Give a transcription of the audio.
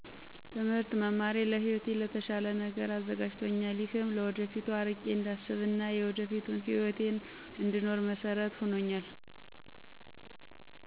ትምህርት መማሬ ለህይወቴ ለተሻለ ነገር አዘጋጅቶኛል ይህም ለወደፊቱ አርቄ እንዳስብ እና የወደፊቱን ህይወቴን እነድኖር መሰረት ሁኖኛል።